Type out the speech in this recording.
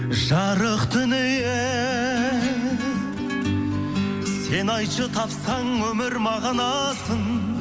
жарық дүние сен айтшы тапсаң өмір мағынасын